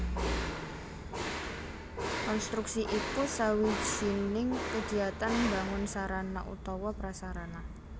Konstruksi iku sawijining kagiatan mbangun sarana utawa prasarana